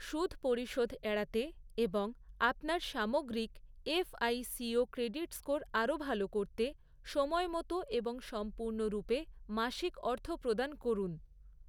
সুদ পরিশোধ এড়াতে এবং আপনার সামগ্রিক এফআইসিও ক্রেডিট স্কোর আরও ভাল করতে, সময়মতো এবং সম্পূর্ণরূপে মাসিক অর্থপ্রদান করুন।